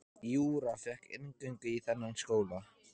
Júra fékk inngöngu í þennan skóla.